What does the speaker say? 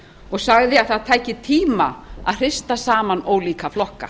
og sagði að það tæki tíma að hrista saman ólíka flokka